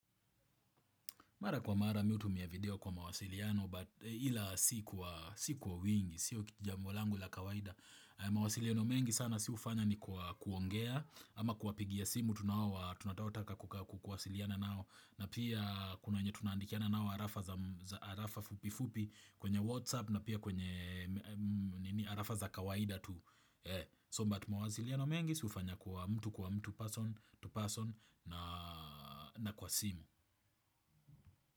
Mara kwa mara mimi hutumia video kwa mawasiliano but ila si kwa wingi, sio jambo langu la kawaida. Mawasiliano mengi sana si hufanya ni kwa kuongea ama kuwapigia simu tunataotaka kuwasiliana nao. Na pia kuna wenye tunaandikiana nao arafa fupi fupi kwenye whatsapp na pia kwenye arafa za kawaida tu. So but mawasiliano mengi si hufanya kwa mtu kwa mtu person to person na kwa simu.